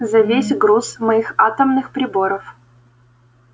за весь груз моих атомных приборов